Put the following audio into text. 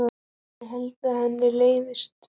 Ég held að henni leiðist vinnan.